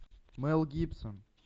мэл гибсон